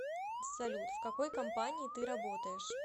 салют в какой компании ты работаешь